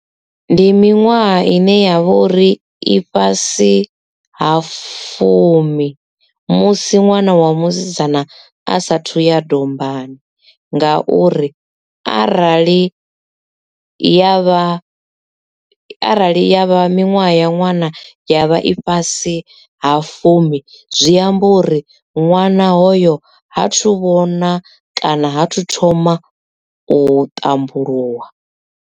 Ndi miṅwaha ine yavha uri i fhasi ha fumi musi ṅwana wa musidzana a sathu ya dombani nga uri arali ya vha arali ya vha miṅwaha ya ṅwana ya vha i fhasi ha fumi zwi amba uri ṅwana hoyo ha thu vhona kana ha thu thoma u ṱambuluwa.